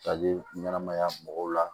Kali ɲɛnamaya mɔgɔw la